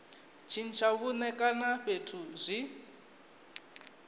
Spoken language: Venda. tshintsha vhuṋe kana fhethu zwi